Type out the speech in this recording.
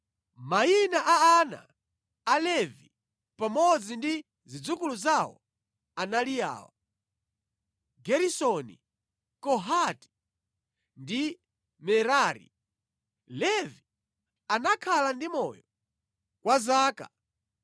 Mayina a ana a Levi pamodzi ndi zidzukulu zawo anali awa: Geresoni, Kohati ndi Merari. Levi anakhala ndi moyo kwa zaka 137.